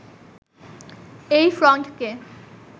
এই ফ্রন্টকে